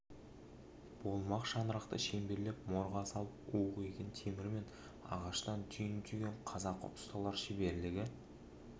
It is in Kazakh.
болмақ шаңырақты шеңберлеп морға салып уық иген темір мен ағаштан түйін түйген қазақы ұсталар шеберлігі